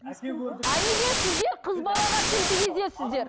а неге сіздер қыз балаға тіл тигізесіздер